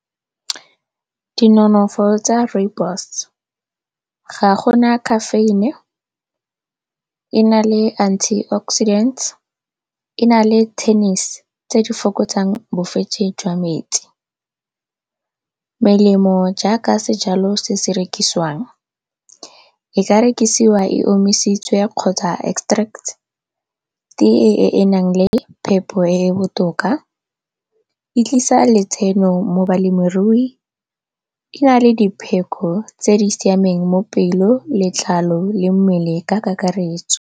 Dinonofo tsa Rooibos, ga gona caffeine, e na le antioxidant, e na le tennis tse di fokotsang jwa metsi. Melemo jaaka sejalo se se rekisiwang, e ka rekisiwa e omisitswe kgotsa extracts-e e e nang le phepo e e botoka. E tlisa letseno mo balemirui, e na le dipheko tse di siameng mo pelo, letlalo le mmele ka kakaretso.